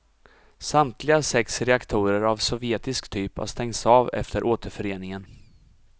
Samtliga sex reaktorer av sovjetisk typ har stängts av efter återföreningen.